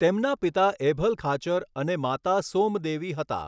તેમના પિતા એભલ ખાચર અને માતા સોમદેવી હતા.